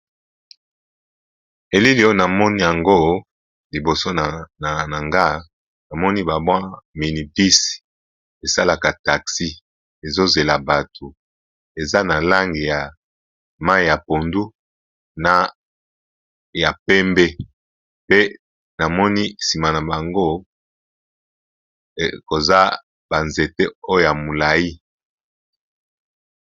Elili oyo namoni yango liboso nanga namoni ba mwa mini bus esalaka taxi, ezo zela bato eza na langi ya mayi ya pondu na ya pembe pe namoni nsima na bango koza ba nzete oya mulayi.